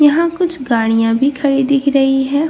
यहां कुछ गाडियां भी खड़ी दिख रही है।